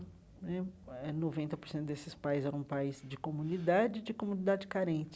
Né eh noventa por cento desses pais eram pais de comunidade e de comunidade carente.